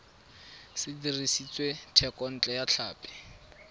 se dirisitswe thekontle ya tlhapi